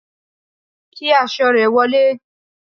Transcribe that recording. kí aṣọ re wolé